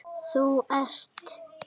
Þú ert.